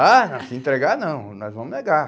Ah, se entregar não, nós vamos negar.